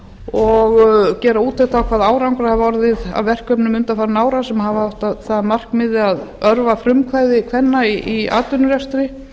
og gera úttekt á hvaða árangur hafi orðið af verkefnum undanfarinna ára sem hafa það að markmiði að örva frumkvæði kvenna í atvinnurekstri